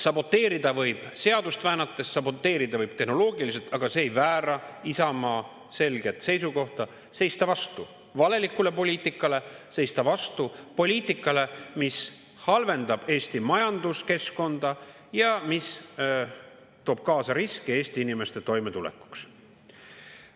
Saboteerida võib seadust väänates, saboteerida võib tehnoloogiliselt, aga see ei väära Isamaa selget seisukohta: seista vastu valelikule poliitikale, seista vastu poliitikale, mis halvendab Eesti majanduskeskkonda ja mis toob kaasa riske Eesti inimeste toimetulekuks.